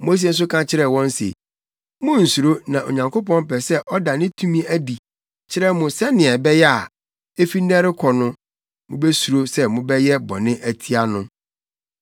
Mose nso ka kyerɛɛ wɔn se, “Munnsuro na Onyankopɔn pɛ sɛ ɔda ne tumi adi kyerɛ mo sɛnea ɛbɛyɛ a, efi nnɛ rekɔ no, mubesuro sɛ mobɛyɛ bɔne atia no.”